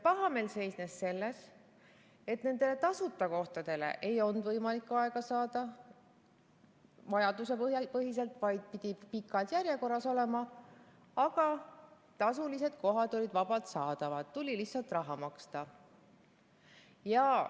Pahameel seisnes selles, et tasuta kohtadele ei olnud võimalik aega saada vajadusepõhiselt, vaid pidi pikas järjekorras olema, aga tasulised kohad olid vabalt saadavad, tuli lihtsalt raha maksta.